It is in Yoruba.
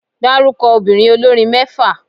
Dárúkọ obìnrin olórin mẹ́fà.